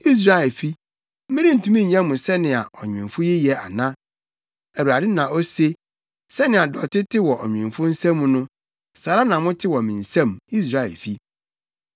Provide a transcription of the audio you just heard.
“Israelfi, merentumi nyɛ mo sɛnea ɔnwemfo yi yɛ ana?” Awurade na ose. “Sɛnea dɔte te wɔ ɔnwemfo nsam no, saa ara na mote wɔ me nsam, Israelfi.